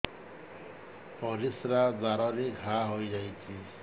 ପରିଶ୍ରା ଦ୍ୱାର ରେ ଘା ହେଇଯାଇଛି